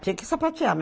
Tinha que sapatear.